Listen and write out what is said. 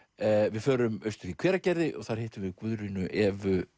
við förum austur í Hveragerði og þar hittum við Guðrúnu Evu